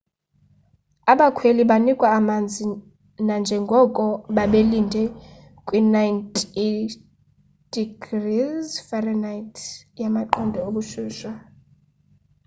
abakhweli banikwa amanzi nanjengoko babelinde kwi 90f- yamaqondo obushushu